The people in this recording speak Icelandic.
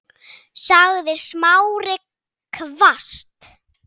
sagði Smári hvasst.